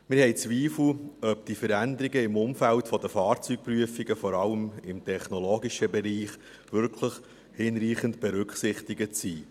Wir haben Zweifel, ob die Veränderungen im Umfeld der Fahrzeugprüfungen, vor allem im technologischen Bereich, wirklich hinreichend berücksichtigt sind.